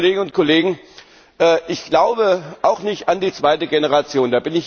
Liebe Kolleginnen und Kollegen, ich glaube auch nicht an die zweite Generation.